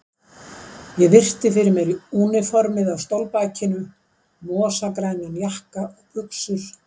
Ég virti fyrir mér úniformið á stólbakinu, mosagrænan jakka og buxur.